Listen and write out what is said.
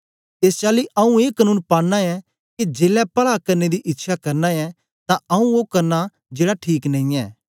एस चाली आंऊँ ए कनून पानां ऐं के जेलै पला करने दी इच्छया करना ऐं तां आंऊँ ओ करना जेड़ा ठीक नेई ऐ